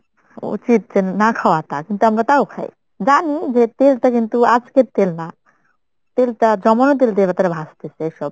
উচিত যে না খাওয়া তা কিন্তু আমরা তাও খাই। জানি যে তেলটা কিন্তু আজকের তেল না তেলটা জমানো তেল দিয়ে তারা ভাজতেসে সব।